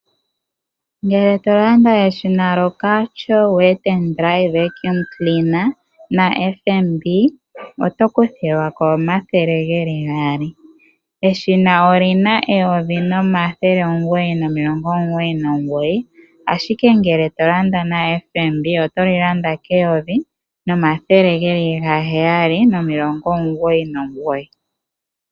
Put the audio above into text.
Ngele to landa eshina lyo Karcher Wet and Dry Vacuum Cleaner na FNB oto kuthilwa ko omathele geli gaali. Eshina olina eyovi limwe nomathele omugoyi nomilongo omugoyi nomugoyi ashike ngele tolanda na FNB oto li landa keyovi limwe nomathele gaheyali nomilongo omugoyi nomugoyi.